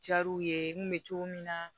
Jar'u ye n kun bɛ cogo min na